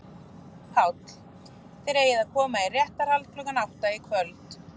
PÁLL: Þér eigið að koma í réttarhald klukkan átta í kvöld.